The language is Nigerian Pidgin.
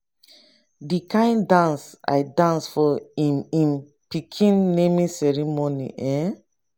the kin dance i dance for im im pikin naming ceremony eh